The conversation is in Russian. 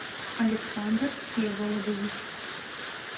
александр всеволодович